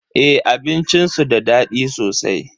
Eh abincin su da daɗi sosai.